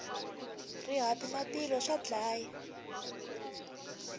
rihati na tilo swa dlaya